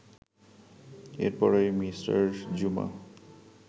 এরপরই মি. জুমা